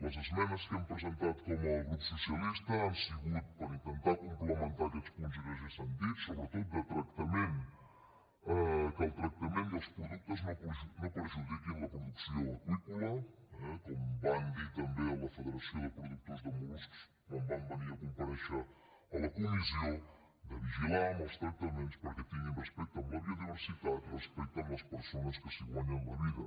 les esmenes que hem presentat com a grup socialista han sigut per intentar complementar aquests punts i que ja s’han dit sobretot que el tractament i els productes no perjudiquin la producció aqüícola eh com van dir també a la federació de productors de mol·luscs quan van venir a comparèixer a la comissió de vigilar amb els tractaments perquè tinguin respecte a la biodiversitat respecte a les persones que s’hi guanyen la vida